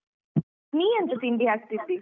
ನೀ ಎಂತ ತಿಂಡಿ ಹಾಕ್ತಿದ್ದಿ?